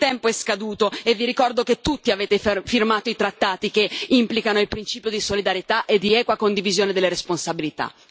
Il tempo è scaduto e vi ricordo che tutti avete firmato i trattati che implicano il principio di solidarietà e di equa condivisione delle responsabilità.